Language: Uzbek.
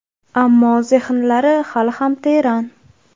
Ammo zehnlari hali ham teran.